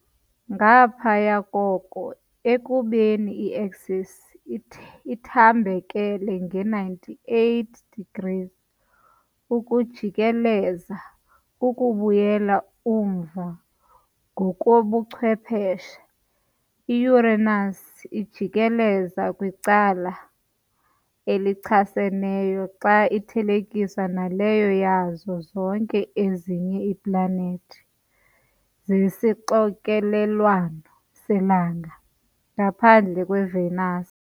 Ngaphaya koko, ekubeni i-axis ithambekele nge-98 degrees, ukujikeleza kukubuyela umva ngokobuchwephesha. I-Uranus ijikeleza kwicala elichaseneyo xa ithelekiswa naleyo yazo zonke ezinye iiplanethi zesixokelelwano selanga, ngaphandle kweVenus.